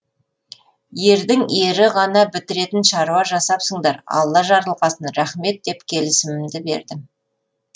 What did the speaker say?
ердің ері ғана бітіретін шаруа жасапсыңдар алла жарылқасын рахмет деп келісімімді бердім